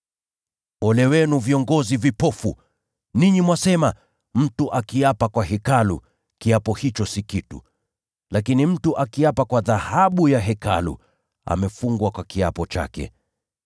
“Ole wenu, viongozi vipofu! Ninyi mwasema, ‘Mtu akiapa kwa Hekalu, kiapo hicho si kitu; lakini mtu akiapa kwa dhahabu ya Hekalu, amefungwa kwa kiapo chake.’